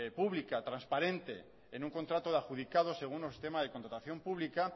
pública transparente en un contrato de adjudicado según un sistema de contratación pública